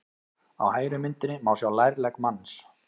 Á hægri myndinni má sjá lærlegg manns.